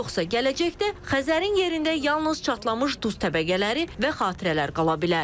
Yoxsa gələcəkdə Xəzərin yerində yalnız çatlamış duz təbəqələri və xatirələr qala bilər.